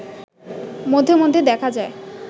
মধ্যে মধ্যে দেখা যায়